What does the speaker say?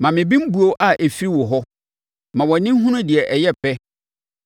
Ma me bembuo a ɛfiri wo hɔ. Ma wʼani nhunu deɛ ɛyɛ pɛ.